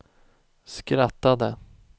skrattade